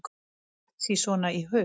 Mér datt sí svona í hug.